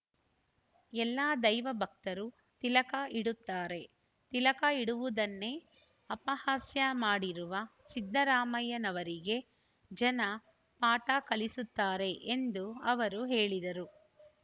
ಎಲ್ಲ ದೈವ ಭಕ್ತರು ತಿಲಕ ಇಡುತ್ತಾರೆ ತಿಲಕ ಇಡುವುದನ್ನೇ ಅಪಹಾಸ್ಯ ಮಾಡಿರುವ ಸಿದ್ದರಾಮಯ್ಯನವರಿಗೆ ಜನ ಪಾಠ ಕಲಿಸುತ್ತಾರೆ ಎಂದು ಅವರು ಹೇಳಿದರು